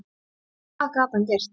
Hvað gat hann gert?